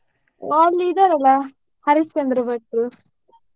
ಓ ಅಲ್ಲಿ ಇದ್ದಾರಲ್ಲ ಹರಿಶ್ಚಂದ್ರ ಭಟ್ರು.